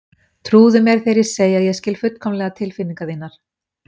Trúðu mér þegar ég segi að ég skil fullkomlega tilfinningar þínar.